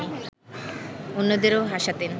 অন্যদেরও হাসাতেন